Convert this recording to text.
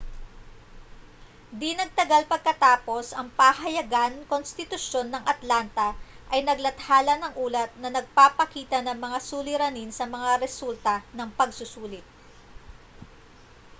di-nagtagal pagkatapos ang pahayagan-konstitusyon ng atlanta ay naglathala ng ulat na nagpapakita ng mga suliranin sa mga resulta ng pagsusulit